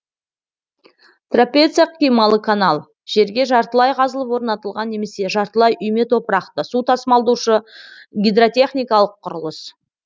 трапеция қималы канал жерге жартылай қазылып орнатылған немесе жартылай үйме топырақты су тасымалдаушы гидротехникалық құрылыс